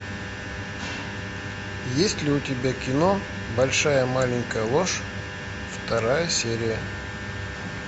есть ли у тебя кино большая маленькая ложь вторая серия